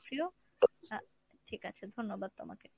hello. আহ ঠিকাছে ধন্যবাদ তোমাকে।